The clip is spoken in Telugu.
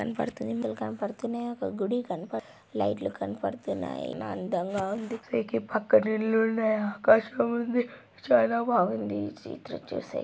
కనపడుతుంది మనుషులు కనబడుతున్నాయి ఒక గుడి కనపడుతుంది లైట్ లు కనపడుతున్నాయి చానా అందంగా ఉంది వీటి పక్కన ఇల్లు ఉన్నాయి ఆకాశముంది చానా బాగుంది.ఇ---